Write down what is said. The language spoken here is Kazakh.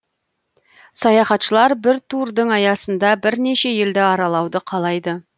саяхатшылар бір турдың аясында бірнеше елді аралауды қалайды